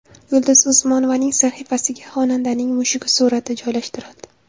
Yulduz Usmonovaning sahifasiga xonandaning mushugi surati joylashtirildi.